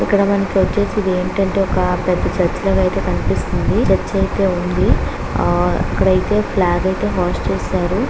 ఇక్కడ మనకు వచ్చేసి ఇది ఏంటంటే ఒక పెద్ద చర్చి లాగా అయితే కనిపిస్తుంది. చర్చ్ అయితే ఉంది. ఆ ఇక్కడైతే ఫ్లాగ్ అయితే హోస్ట్ చేస్తున్నారు.